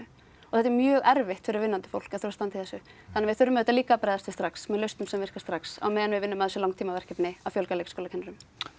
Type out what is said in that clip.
þetta er mjög erfitt fyrir vinnandi fólk að þurfa að standa í þessu þannig við þurfum auðvitað líka að bregðast við strax lausnum sem virka strax á meðan við vinnum að þessu langtímaverkefni að fjölga leikskólakennurum